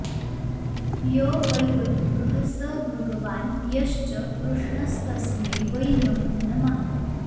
यो वै वटुकः स भगवान् यश्च कृष्णस्तस्मै वै नमो नमः